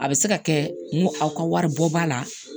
A bɛ se ka kɛ n ko aw ka wari bɔ ba la